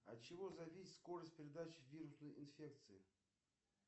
от чего зависит скорость передачи вирусной инфекции